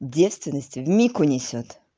девственность в миг унесёт